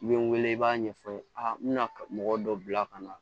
I bɛ n wele i b'a ɲɛfɔ n ye a bɛna mɔgɔ dɔ bila ka na